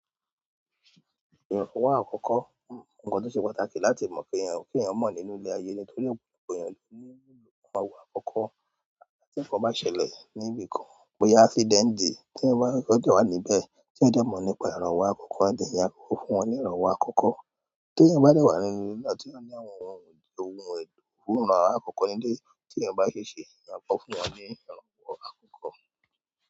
Ìrànwọ́ àkọ́kọ́, nǹkan tó ṣe pàtàkì láti mọ̀ kí èèyàn mọ̀ nínú ilẹ̀ ayé ni torí gbogbo èèyàn ló ní ìlò àwọn ìránwọ́ àkọ́kọ́. Àti tí ǹkan bá ṣẹlẹ̀ níbi kan, bóyá accident tí èèyàn bá jẹ́ wà níbẹ̀ tí wọ́n dẹ̀ mọ̀ nípa ìrànwọ́ àkọ́kọ́ ni, yàn kọ fún wọn ní ìrànwọ́ àkọ́kọ́. Tí èèyàn bá wà nínú ilẹ̀ náà tí ó ní àwọn ohun ohùn àwọn àwọ̀ àkọ́kọ́ nílé tí èèyàn bá ṣe ṣe, èèyàn kọ fún wọn ní ìrànwọ́ àkọ́kọ́.